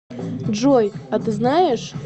джой а ты знаешь